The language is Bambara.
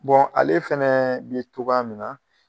ale fɛnɛ be togoya min na